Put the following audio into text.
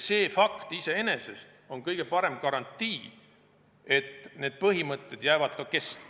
See fakt iseenesest on kõige parem garantii, et need põhimõtted jäävad ka kestma.